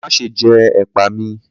Má ṣe jẹ ẹ̀pà mi!